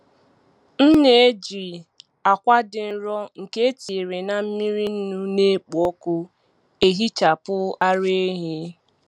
M na-eji akwa dị nro nke etinyere na mmiri nnu na-ekpo ọkụ ehichapụ ara ehi.